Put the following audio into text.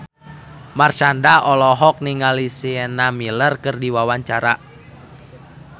Marshanda olohok ningali Sienna Miller keur diwawancara